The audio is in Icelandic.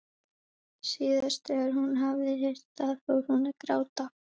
Síðast þegar hún hafði heyrt það fór hún að gráta.